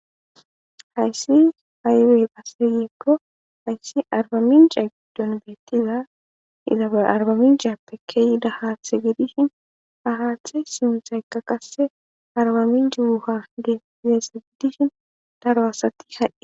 Hayssi haywey phasseyeekko hayssi arbamin caagidon beettiza ilaba arbamin jaappekeyida haathe gidishin ahaathe simsaykka qasse arbamin jiwu ha ggeesse gidishin daro asati hahe